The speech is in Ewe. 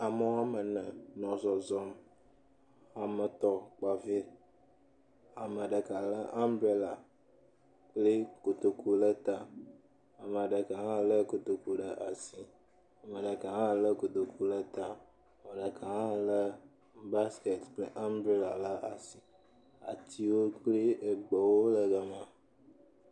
Ame wo ame ene le zɔzɔm. Ame etɔ̃ kpa vi, ame ɖeka lé ambrela kple kotoku ɖe ta ame ɖeka hã lé kotoku ɖe asi, ame ɖeka hã lé kotoku lɛ ta. Ame ɖeka hã lé baskɛti kple ambrela ɖe asi. Atiwo kple egbewo le gama.